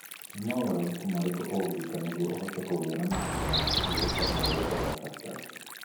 Nĩ mogarũrũku marĩkũ ũngĩka nĩguo ũhote kũgĩa na mahinda ma kũhurũka marĩa ũrabatara?